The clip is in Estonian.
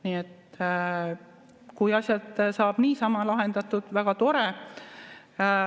Nii et kui asjad saab niisama lahendatud, on väga tore.